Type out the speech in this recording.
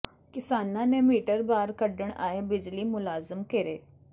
ਕਿਸਾਨਾਂ ਨੇ ਮੀਟਰ ਬਾਹਰ ਕੱਢਣ ਆਏ ਬਿਜਲੀ ਮੁਲਾਜ਼ਮ ਘੇਰੇ